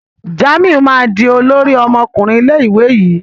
Jamiu ma dì olórí ọmọkùnrin ilé ìwé yí.